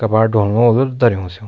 कबाड़ ढोलनु होलु धर्युं स्यू।